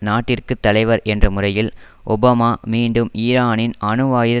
நாட்டிற்கு தலைவர் என்ற முறையில் ஒபாமா மீண்டும் ஈரானின் அணுவாயுத